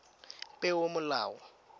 peomolao